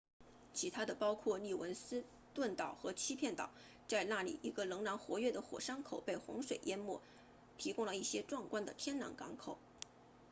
其他的包括利文斯顿岛和欺骗岛在那里一个仍然活跃的火山口被洪水淹没提供了一个壮观的天然港口